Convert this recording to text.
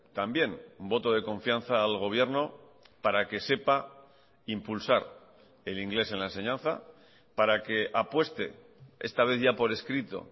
también voto de confianza al gobierno para que sepa impulsar el inglés en la enseñanza para que apueste esta vez ya por escrito